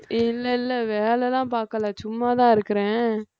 இல்லை இல்லை வேலைலாம் பார்க்கலை சும்மாதான் இருக்கிறேன்